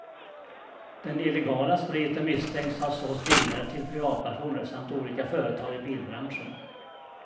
Den illegala spriten misstänks ha sålts vidare till privatpersoner samt olika företag i bilbranschen.